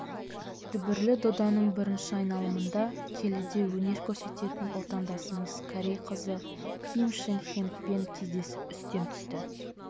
дүбірлі доданың бірінші айналымында келіде өнер көрсететін отандасымыз корей қызы ким шинг хенгпен кездесіп үстем түсті